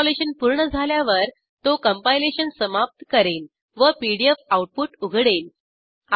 installation पूर्ण झाल्यावर तो कंपाइलेशन समाप्त करेल व पीडीएफ आऊटपुट उघडेल